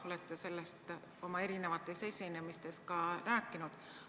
Olete sellest oma esinemistes ka rääkinud.